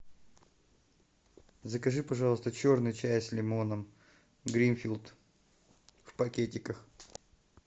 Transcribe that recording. закажи пожалуйста черный чай с лимоном гринфилд в пакетиках